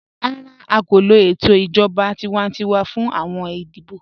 Rárá, à kò lọ ètò ijọ̀ba tíwàntíwà fún awọn ìdíbọ̀.